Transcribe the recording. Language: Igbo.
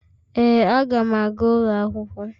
Ee, Aga m aga ụlọ akwụkwọ